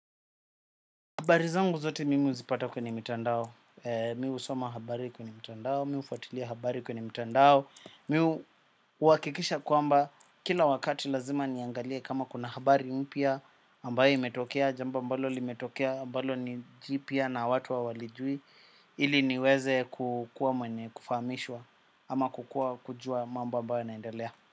Habari zangu zote mimi huzipata kwenye mitandao. Mi usoma habari kwenye mitandao. Mi ufuatilia habari kwenye mitandao. Mi huakikisha kwamba kila wakati lazima niangalie kama kuna habari mpya ambaye imetokea, jambo ambalo limetokea ambalo ni jipya na watu hawalijui. Ili niweze kukua mwenye kufahamishwa. Ama kukua kujua mambo ambao yanaendelea.